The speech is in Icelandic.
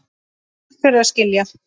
Takk fyrir að skilja.